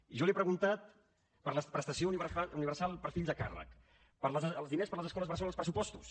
i jo li he preguntat per la prestació universal per fills a càrrec pels diners per a les escoles bressol als pressupostos